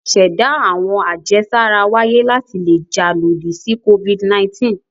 Ìṣẹ̀dá àwọn àjẹsára wáyé láti le jà lòdì sí Covid-19.